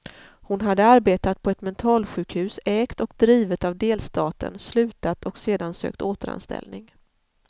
Hon hade arbetat på ett mentalsjukhus ägt och drivet av delstaten, slutat och sedan sökt återanställning.